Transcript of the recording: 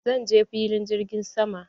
Zan je filin jirgin sama.